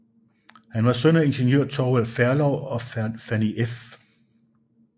Han var søn af ingeniør Thorvald Ferlov og Fanny f